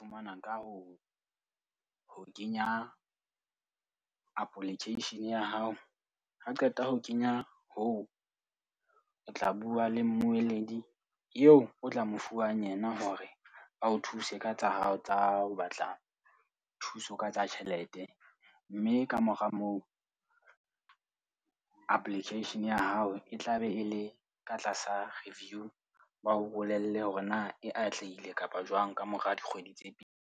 Fumanwa ka ho ho kenya application ya hao. Ha o qeta ho kenya hoo, o tla bua le mmoledi eo o tla mo fuwang yena hore a o thuse ka tsa hao tsa ho batla thuso ka tsa tjhelete. Mme kamora moo, application ya hao e tla be e le ka tlasa reveiew. Ba o bolelle hore na e atlehile kapa jwang kamora dikgwedi tse pedi.